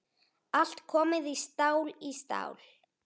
Allt komið stál í stál.